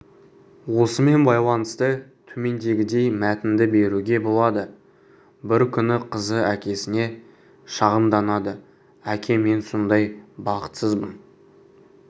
осымен байланысты төмендегідей мәтінді беруге болады бір күні қызы әкесіне шағымданады әке мен сондай бақытсызбын